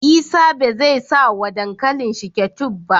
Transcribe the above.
Isa bezai sa wa dankalin shi ketchup ba